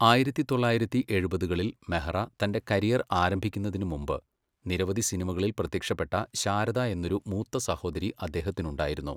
ആയിരത്തി തൊള്ളായിരത്തി എഴുപതുകളിൽ മെഹ്റ തന്റെ കരിയർ ആരംഭിക്കുന്നതിന് മുമ്പ്, നിരവധി സിനിമകളിൽ പ്രത്യക്ഷപ്പെട്ട ശാരദ എന്നൊരു മൂത്ത സഹോദരി അദ്ദേഹത്തിനുണ്ടായിരുന്നു.